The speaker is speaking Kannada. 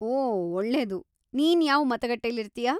ಓ ಒಳ್ಳೆದು! ನೀನು ಯಾವ್ ಮತಗಟ್ಟೆಲಿರ್ತೀಯಾ?